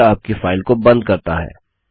यह आपकी फाइल को बंद करता है